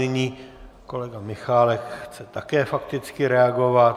Nyní kolega Michálek chce také fakticky reagovat.